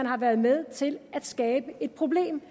har været med til at skabe et problem